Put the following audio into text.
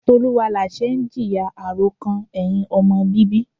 Tioluwalase ń jìyà àròkàn ẹ̀hìn ọmọ bíbí.